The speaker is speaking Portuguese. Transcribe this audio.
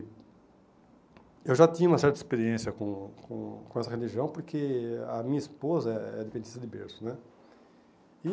Eu já tinha uma certa experiência com com com essa religião, porque a minha esposa é adventista de berço, né? E